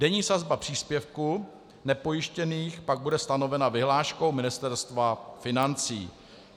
Denní sazba příspěvku nepojištěných pak bude stanovena vyhláškou Ministerstva financí.